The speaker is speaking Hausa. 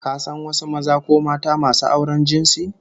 Ka san wasu maza ko mata masu auren jinsi?